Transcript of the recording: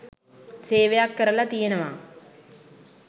සේවයක් කරලා තියෙනවා.